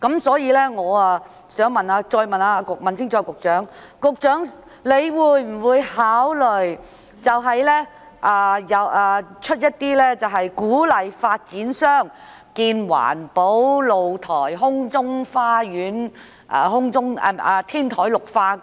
所以，我想再問清楚局長，會否考慮推出一些政策，鼓勵發展商興建環保露台、空中花園，以及進行天台綠化？